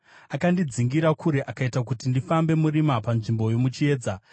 Akandidzingira kure akaita kuti ndifambe murima panzvimbo yomuchiedza;